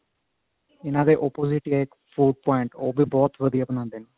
ਇਹਨਾ ਦੇ opposite ਹੀ ਹੈ ਇੱਕ food point ਉਹ ਵੀ ਬਹੁਤ ਵਧੀਆ ਬਣਾਉਂਦੇ ਨੇ